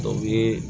O ye